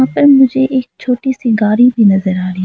और मुझे एक छोटी सी गाड़ी भी नजर आ रही--